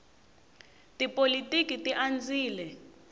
tipolotiki ti andzile